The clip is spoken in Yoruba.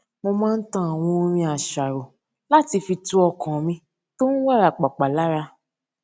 mo máa ń tan àwọn orin àṣàrò láti fi tu ọkàn mi tó n wárapàpà lára